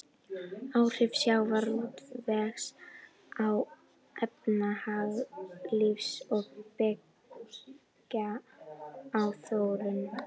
Áhrif sjávarútvegs á efnahagslíf og byggðaþróun.